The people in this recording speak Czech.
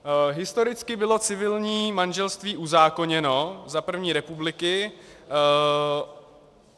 Historicky bylo civilní manželství uzákoněno za první republiky.